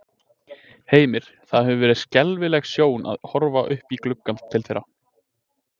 Heimir: Það hefur verið skelfileg sjón að horfa upp í gluggann til þeirra?